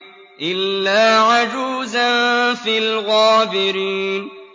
إِلَّا عَجُوزًا فِي الْغَابِرِينَ